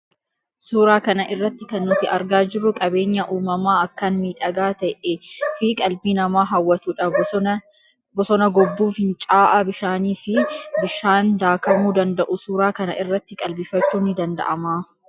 Suuraa kana irratti kan nuti argaa jirru qabeenyaa uumamaa akkaan miidhagaa ta'ee fi qalbii nama hawatuu dha. Bosona gobbuu, fincaa'aa bishaanii fi bidhaan daakamuu danda'u suuraa kana irratti qalbifachuun ni danda'ama.